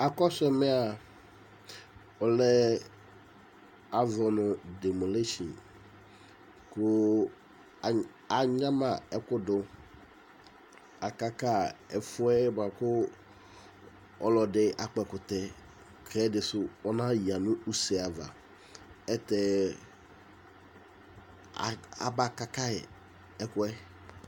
akɔsu ɛmea ɔlɛ azɔ nu demolition ku aŋama ɛfudu akaka ɛfuɛ ɔlɔdi akpɔ ɛkʊtɛ ku ɛdisu ɔna ya nu use li ɛtɛ aba kaka ɛkuɛ